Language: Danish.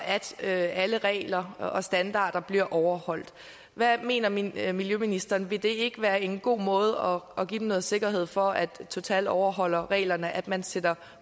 at alle regler og standarder bliver overholdt hvad mener miljøministeren vil det ikke være en god måde at give dem en sikkerhed for at total overholder reglerne at man sætter